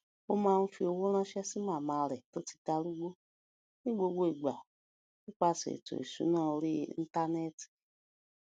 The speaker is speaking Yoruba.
ó máa ń fi owó ránṣé sí màmá rè tó ti darúgbó ní gbogbo ìgbà nípasè ètò ìsúná orí íńtánéètì